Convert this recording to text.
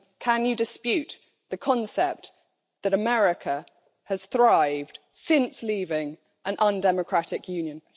Can you dispute the concept that America has thrived since leaving an undemocratic union?